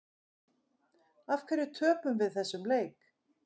Af hverju töpum við þessum leik?